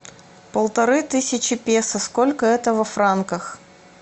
полторы тысячи песо сколько это во франках